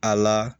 A la